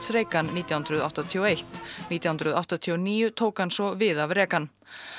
Reagan nítján hundruð áttatíu og eitt nítján hundruð áttatíu og níu tók hann svo við af Reagan